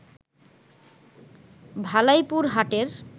ভালাইপুর হাটের